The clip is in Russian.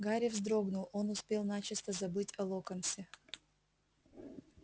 гарри вздрогнул он успел начисто забыть о локонсе